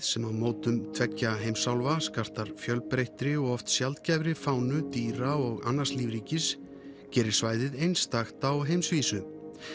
sem á mótum tveggja heimsálfa skartar fjölbreyttri og oft fánu dýra og annars lífríkis gerir svæðið einstakt á heimsvísu